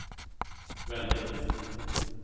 väldigt